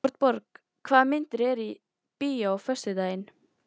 Arnborg, hvaða myndir eru í bíó á föstudaginn?